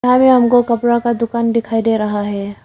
यहां में हमको कपड़ा का दुकान दिखाई दे रहा है।